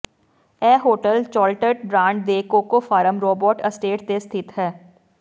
ਇਹ hotel Chocolat brand ਦੇ cocoa farm Rabot estate ਤੇ ਸਥਿਤ ਹੈ